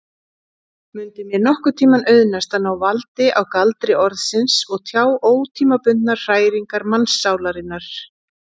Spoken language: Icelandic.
Mundi mér nokkurntíma auðnast að ná valdi á galdri orðsins og tjá ótímabundnar hræringar mannssálarinnar?